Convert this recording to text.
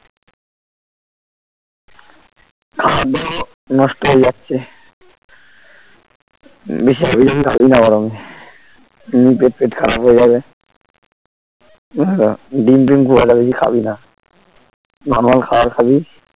খাওয়ার দাওয়ার নষ্ট হয়ে যাচ্ছে বেশি হাবিজাবি খাবি না গরমে পেট ফেটে খারাপ হয়ে যাবে বুঝলিত ডিম টিম খুব একটা খাবিনা normal খাওয়ার খাবি